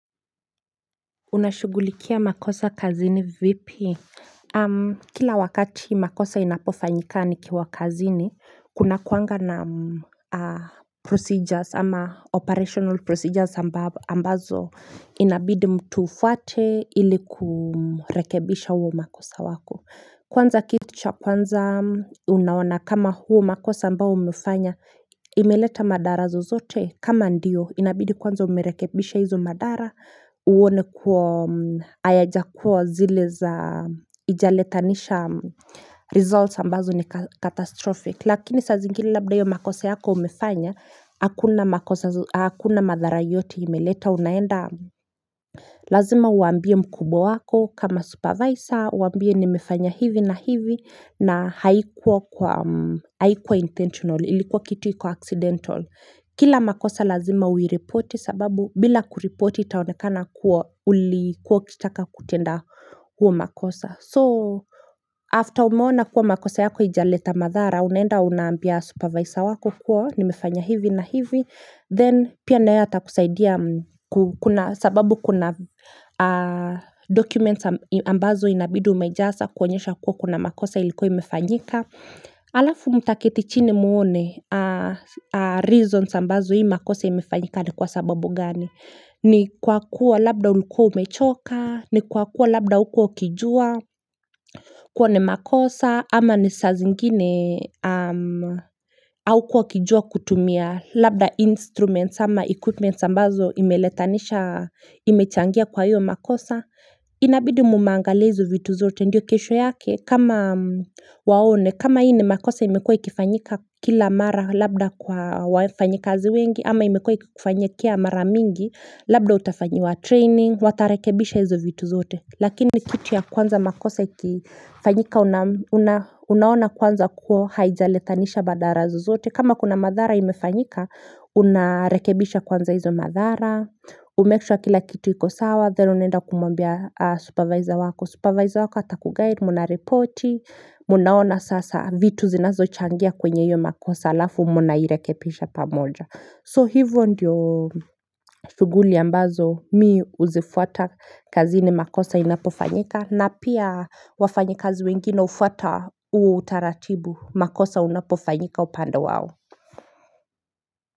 Unashughulikia makosa kazini vipi? Kila wakati makosa inapofanyika nikiwa kazini, kunakuanga na procedures ama operational procedures ambazo inabidi mtu ufuate ili kurekebisha huo makosa wako. Kwanza kitu cha kwanza unaona kama huo makosa ambao umefanya imeleta madara zozote kama ndiyo inabidi kwanza umerekebisha hizo madara uone kwa hayajakuwa zile za hijaletanisha results ambazo ni catastrophic lakini saa zingine labda hiyo makosa yako umefanya hakuna madhara yote imeleta unaenda Lazima uambie mkubwa wako kama supervisor Uambie nimefanya hivi na hivi na haikuwa intentional Ilikuwa kitu iko accidental Kila makosa lazima uireporti sababu bila kuripoti itaonekana kuwa ulikuwa ukitaka kutenda huo makosa So after umeona kuwa makosa yako haijaleta madhara Unaenda unaambia supervisor wako kuwa nimefanya hivi na hivi Then pia naye atakusaidia Kuna sababu kuna documents ambazo inabidi umejaza kuonyesha kuwa kuna makosa ilikua imefanyika Alafu mtaketi chini muone reasons ambazo hii makosa imefanyika ni kwa sababu gani ni kwa kuwa labda ulikuwa umechoka, ni kwa kuwa labda hukua ukijua kuwa ni makosa ama ni saa zingine haukuwa ukijua kutumia Labda instruments ama equipment ambazo imeletanisha imechangia kwa hiyo makosa Inabidi mmeangalia hizo vitu zote ndio kesho yake kama waone kama hii ni makosa imekuwa ikifanyika kila mara labda kwa wafanyakazi wengi ama imekuwa ikikufanyikia mara mingi Labda utafanyiwa training watarekebisha hizo vitu zote Lakini kitu ya kwanza makosa ikifanyika unaona kwanza kuwa haijaletanisha madhara zozote kama kuna madhara imefanyika, unarekebisha kwanza hizo madhara Umake sure kila kitu iko sawa, then unaenda kumwambia supervisor wako Supervisor wako atakuguide, mnareporti, mnaona sasa vitu zinazochangia kwenye hiyo makosa alafu mnairekebisha pamoja So hivyo ndiyo shughuli ambazo mimi huzifuata kazini makosa inapofanyika na pia wafanyikazi wengine hufuata huo utaratibu makosa inapofanyika upande wao.